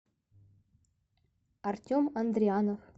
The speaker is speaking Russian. артем андрианов